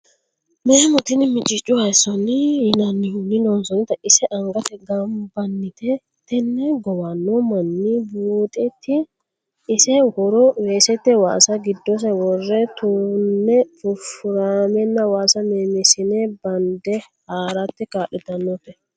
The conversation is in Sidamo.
Memo tini micicu hayisicho yinannihunni loonsannite ise angate gombannite tene gowano manni buuxeti ise horo weesete waasa giddose wore tune furifuramenna waasa memisamo bande haarate kaa'littanote.